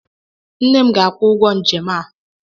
Nne m ga-akwụ ụgwọ njem a.